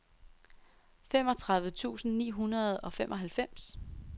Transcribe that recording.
femogtredive tusind ni hundrede og femoghalvfems